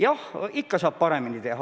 Jah, alati saab paremini teha.